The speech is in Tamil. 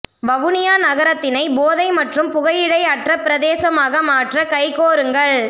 வவுனியா நகரத்தினை போதை மற்றும் புகையிழைல அற்ற பிரதேசமாக மாற்ற கைகோருங்கள்